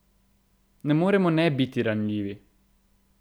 Ne moremo ne biti ranljivi!